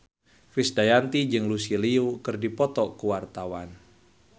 Krisdayanti jeung Lucy Liu keur dipoto ku wartawan